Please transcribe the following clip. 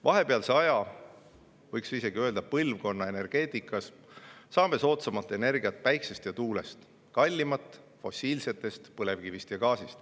Vahepealsel ajal, võiks isegi öelda põlvkonna energeetikas, saame soodsamat energiat päikesest ja tuulest ning kallimat fossiilsetest, põlevkivist ja gaasist.